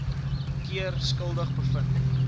keer skuldig bevind